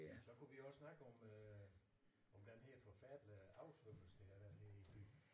Så kunne vi også snakke om øh om den her forfærdelige oversvømmelse der har været her i byen